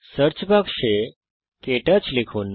search বাক্সে ক্টাচ লিখুন